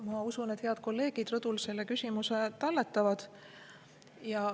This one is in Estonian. Ma usun, et head kolleegid rõdul selle küsimuse talletavad.